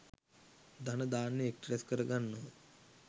ධන ධාන්‍ය එක් රැස් කර ගන්නවා.